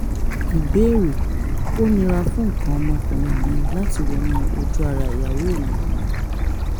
ìbéèrè: ó nira fún nǹkan ọmọkùnrin mi láti wọnú ojú ara ìyàwó mi